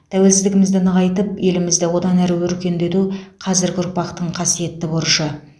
тәуелсіздігімізді нығайтып елімізді одан ары өркендету қазіргі ұрпақтың қасиетті борышы